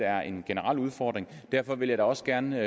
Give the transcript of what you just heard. er en generel udfordring derfor vil jeg da også gerne